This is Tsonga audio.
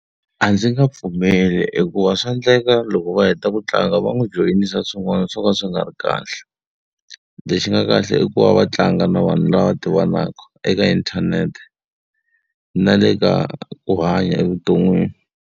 A ndzi nge pfumeli hikuva swa endleka loko va heta ku tlanga va n'wi joyinisa swin'wana swo ka swi nga ri kahle. Lexi nga kahle i ku va va tlanga na vanhu lava tivanaka eka inthanete, na le ka ku hanya evuton'wini.